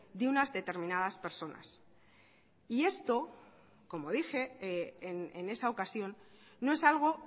de unas determinadas personas y esto como dije en esa ocasión no es algo